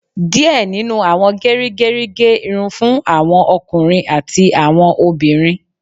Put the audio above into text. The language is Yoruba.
Díẹ̀ nínú àwọn gerigeri gé irun fún àwọn ọkùnrin àti àwọn obìnrin